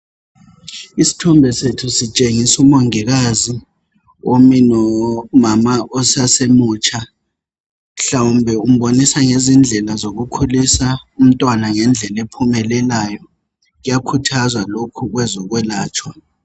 Isithombe sethu sitshengisa umongikazi omi nomama osasemutsha. Mhlawumbe umbonisa ngezindlela zokukhulisa umntwana ngendlela ephumelelayo. Kuyakhuthazwa lokhu, kwezokwelatshwa.